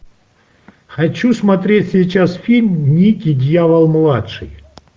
хочу смотреть сейчас фильм никки дьявол младший